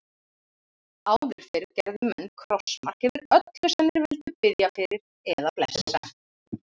Áður fyrr gerðu menn krossmark yfir öllu sem þeir vildu biðja fyrir eða blessa.